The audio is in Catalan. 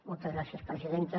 moltes gràcies presidenta